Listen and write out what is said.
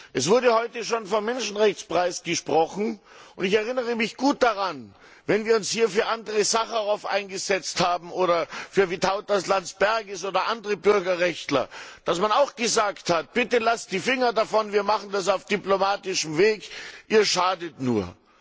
Es wurde heute schon vom Menschrechtspreis gesprochen. Ich erinnere mich gut daran, als wir uns hier für Andrej Sacharow eingesetzt haben oder für Vytautas Landsbergis oder andere Bürgerrechtler, dass man auch gesagt hat Bitte, lasst die Finger davon, wir machen das auf diplomatischen Weg, Ihr schadet nur!